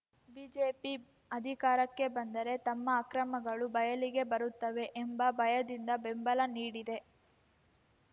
BJP ಅಧಿಕಾರಕ್ಕೆ ಬಂದರೆ ತಮ್ಮ ಅಕ್ರಮಗಳು ಬಯಲಿಗೆ ಬರುತ್ತವೆ ಎಂಬ ಭಯದಿಂದ ಬೆಂಬಲ ನೀಡಿದೆ